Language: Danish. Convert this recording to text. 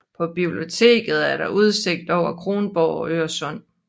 På biblioteket er der udsigt over Kronborg og Øresund